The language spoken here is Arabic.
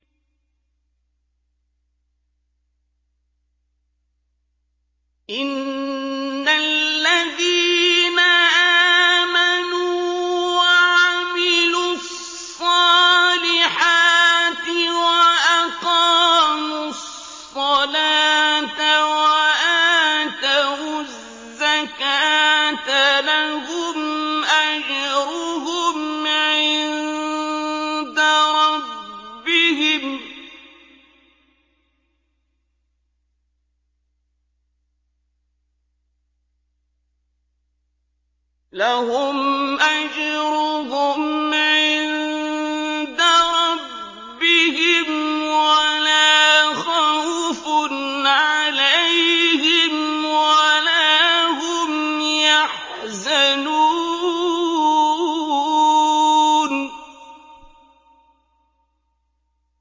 إِنَّ الَّذِينَ آمَنُوا وَعَمِلُوا الصَّالِحَاتِ وَأَقَامُوا الصَّلَاةَ وَآتَوُا الزَّكَاةَ لَهُمْ أَجْرُهُمْ عِندَ رَبِّهِمْ وَلَا خَوْفٌ عَلَيْهِمْ وَلَا هُمْ يَحْزَنُونَ